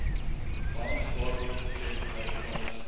bankgewaarborgde tjek gelykstaande